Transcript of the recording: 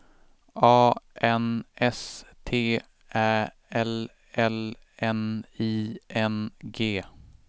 A N S T Ä L L N I N G